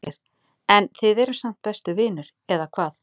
Ásgeir: En þið eruð samt bestu vinir, eða hvað?